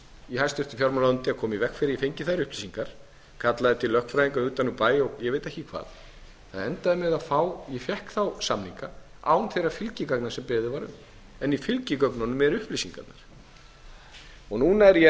í háttvirtri fjármálaráðuneyti að koma í veg fyrir að ég fengi þær upplýsingar kallaðar til lögfræðingar utan úr bæ og ég veit ekki hvað það endaði með því að ég fékk þá samninga án þeirra fylgigagna sem beðið var um en í fylgigögnunum eru upplýsingar án er ég að